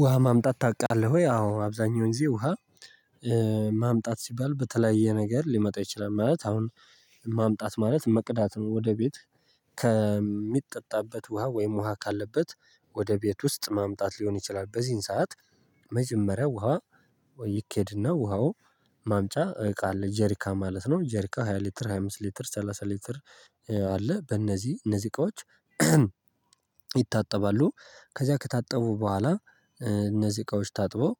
ውሃ ማምጣት ታውቃለህ ወይ? አዎ አብዛኛው ጊዜ ውሃ ማምጣት ሲባል በተለያየ ነገር ሊመጣ ይችላል ማለት አሁን ማምጣት ማለት መቅዳት ነው። ወደ ቤት ከሚጠጣበት ውሃ ወይም ውሃ ካለበት ወደ ቤት ውስጥ ማምጣት ሊሆን ይችላል። በዚህን ሰዓት መጀመሪያ ውሃ ወይ ይኬድና ውሃው ማምጫ እቃ አለ ጀሪካ ማለት ነው። ጀሪካ ሃያ ሊትር ሃያ አምስት ሊትር ሰላሳ ሊትር አለ በእነዚህ እነዚህ እቃዎች ይታጠባሉ። ከዚያ ከታጠቡ በኋላ እነዚህ እቃዎች ታጥበው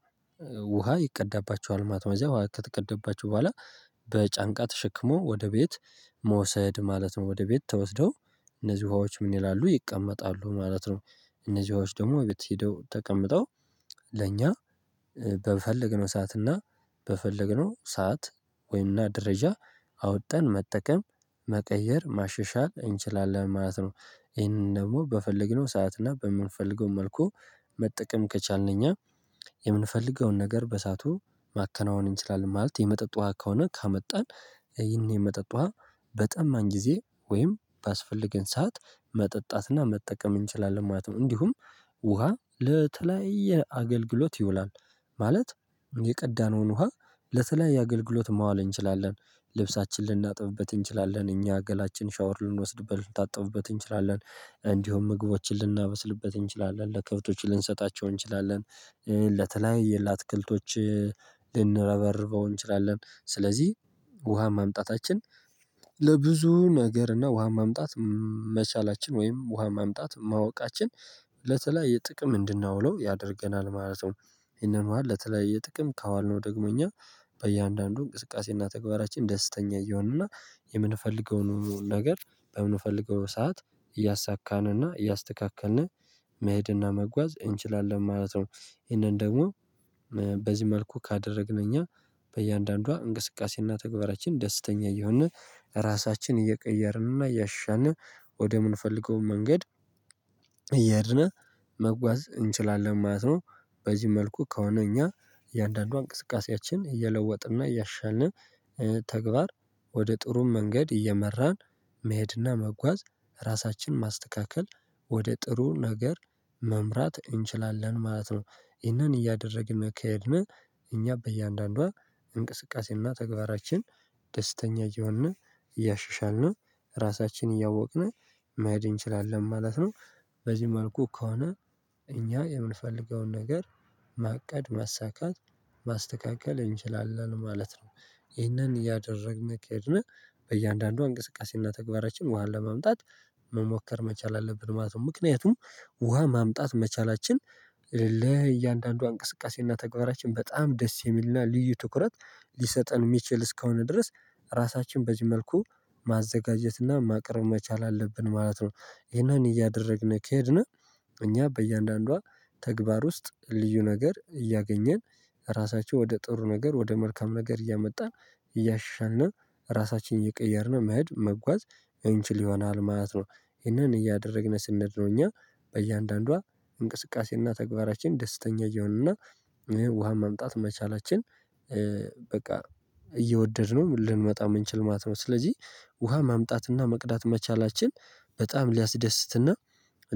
ውሃ ይቀዳባቸዋል ማለት ነው። ከዘያ ውሃ ከተቀደባቸው በኋላ በጫንቃ ተሸክሞ ወደ ቤት መውሰድ ማለት ነው። ወደ ቤት ተወስደው እነዚህ ውሃዎች ምን ይላሉ ይቀመጣሉ ማለት ነው። እነዚህ ውሃዎች ደግሞ ቤት ሄደው ተቀምጠው ለእኛ በፈለግነው ሰዓት እና በፈለግነው ሰዓት ወይና ደረጃ አውጠን መጠቀም መቀየር ማሸሻል እንችላለን ማለት ነው። ይሄንን ደግሞ በፈለግነው ሰዓት እና በምንፈልገው መልኩ መጠቀም ከቻልን እኛ የምንፈልገውን ነገር በሰአቱ ማከናወን እንችላለን ማለት የመጠጥ ውሃ ከሆነ ከአመጣን። ይህን የመጠጥ ውሃ በጠማን ጊዜ ወይም ባስፈልገን ሰዓት መጠጣትና መጠቀም እንችላለን ማለት ነው። እንዲሁም ውሃ ለተለያየ አገልግሎት ይውላል። ማለት የቀዳነውን ውሃ ለተለያየ አገልግሎት ማዋል እንችላለን። ልብሳችን ልናጥብበት እንችላለን እኛ ገላችን ሻወር ልንወስድበት ልንታጠብበት እንችላለን እንዲሁም ምግቦችን ልናበስልበት እንችላለን ለከብቶች ልንሰጣቸው እንችላለን። ለተለያየ ለአትክልቶች ልንረበርበው እንችላለን ስለዚህ ውሃ ማምጣታችን ለብዙ ነገር እና ውሃን ማምጣት መቻላችን ወይም ውሃ ማምጣት ማወቃችን ለተለያየ ጥቅም እንድናውለው ያደርገናል ማለት ነው። ይሄንን ውሃ ለተለያየ ጥቅም ካዋልነው ደግሞ እኛ በእያንዳንዱ እንቅስቃሴና ተግባራችን ደስተኛ እየሆንንና የምንፈልገውን ነገር በምንፈልገው ሰዓት እያሳካንና እያስተካከልን መሄድና መጓዝ እንችላለን ማለት ነው። ይሄንን ደግሞ በዚህ መልኩ ካደረግን እኛ በእያንዳንዷ እንቅስቃሴና ተግባራችን ደስተኛ እየሆንን ራሳችንን እየቀየርንና እያሻሻልን ወደምንፈልገው መንገድ እየሄድን መጓዝ እንችላለን ማለት ነው። በዚህ መልኩ ከሆነ እኛ እያንዳንዷ እንቅስቃሴያችን እየለወጥንና እያሻሻልን ተግባር ወደ ጥሩም መንገድ እየመራን መሄድና መጓዝ ራሳችን ማስተካከል ወደ ጥሩ ነገር መምራት እንችላለን ማለት ነው። ይህንን እያደረግን ከሄድን እኛ በእያንዳንዷ እንቅስቃሴና ተግባራችን ደስተኛ እየሆንን እያሻሻልን ራሳችንን እያወቅን መሄድ እንችላለን ማለት ነው። በዚህ መልኩ ከሆነ እኛ የምንፈልገውን ነገር ማቀድ ማሳካት ማስተካከል እንችላለን ማለት ነው። ይህንን እያደረግን ከሄድን በእያንዳንዷ እንቅስቃሴና ተግባራችን ውሃን ለመምጣት መሞከር መቻል አለብን ማለት ነው። ምክንያቱም ውሃ ማምጣት መቻላችን ለእያንዳንዷ እንቅስቃሴና ተግባራችን በጣም ደስ የሚልና ልዩ ትኩረት ሊሰጠን የሚችል እስከሆነ ድረስ ራሳችን በዚህ መልኩ ማዘጋጀትና ማቅረብ መቻል አለብን ማለት ነው። ይሄንን እያደረግን ከሄድን እኛ በእያንዳንዷ ተግባር ውስጥ ልዩ ነገር እያገኘን ራሳቸው ወደ ጥሩ ነገር ወደ መልካም ነገር እያመጣን እያሻሻልን ራሳችንን እየቀየርን መሄድ መጓዝ እንችል ይሆናል ማለት ነው። ይህንን እያደረግን ስንሄድ ነው እኛ በእያንዳንዷ እንቅስቃሴና ተግባራችን ደስተኛ እና ውሃ መምጣት መቻላችን በቃ እየወደድነው ልንመጣ የምንችል ማለት ነው። ስለዚህ ውሃ ማምጣትና መቅዳት መቻላችን በጣም ሊያስደስትና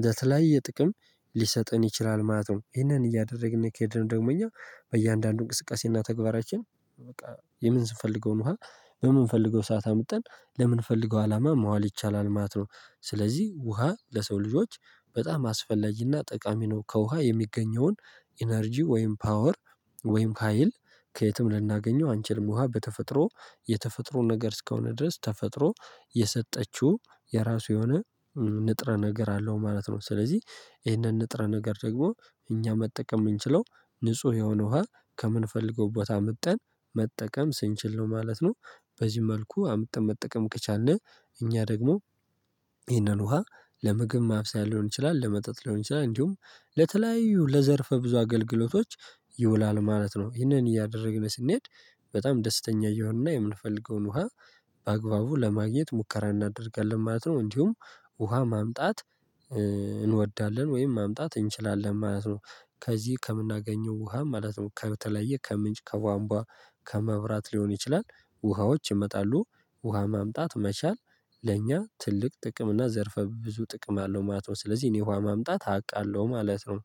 ለተለያየ ጥቅም ሊሰጥን ይችላል ማለት ነው። ይሄንን እያደረግን ከሄድን ደግሞ እኛ በእያንዳንዱ እንቅስቃሴና ተግባራችን በቃ የምንስንፈልገውን ውሃ በምንፈልገው ሰዓት አምጥተን ለምንፈልገው አላማ መዋል ይቻላል ማለት ነው። ስለዚህ ውሃ ለሰው ልጆች በጣም አስፈላጊና ጠቃሚ ነው። ከውሃ የሚገኘውን ኢነርጂ ወይም ፓወር ወይም ሀይል ከየትም ልናገኘው አንችልም ውሃ በተፈጥሮ የተፈጥሮ ነገር እስከሆነ ድረስ ተፈጥሮ የሰጠችው የራሱ የሆነ ንጥረ ነገር አለው ማለት ነው። ስለዚህ ይህንን ንጥረ ነገር ደግሞ እኛ መጠቀም የምንችለው ንጹህ የሆነ ውሃ ከምንፈልገው ቦታ ምጠን መጠቀም ስንችል ነው ማለት ነው። በዚህ መልኩ አምጥተን መጠቀም ከቻልን እኛ ደግሞ ይህንን ውሃ ለምግብ ማብሰያ ሊሆን ይችላል ለመጠጥ ሊሆን ይችላል እንዲሁም ለተለያዩ ለዘርፈ ብዙ አገልግሎቶች ይውላል ማለት ነው። ይህንን እያደረግን ስንሄድ በጣም ደስተኛ እየሆንና የምንፈልገውን ውሃ በአግባቡ ለማግኘት ሙከራ እናደርጋለን ማለት ነው። እንዲሁም ውሃ ማምጣት እንወዳለን ወይም ማምጣት እንችላለን ማለት ነው። ከዚህ ከምናገኘው ውሃ ማለት ነው ከተለያየ ከምንጭ ከቧንቧ ከመብራት ሊሆን ይችላል ውሃዎች ይመጣሉ ውሃ ማምጣት መቻል ለእኛ ትልቅ ጥቅም እና ዘርፈ ብዙ ጥቅም አለው ማለት ነው። ስለዚህ እኔ ውሃ ማምጣት አውቃለሁ ማለት ነው።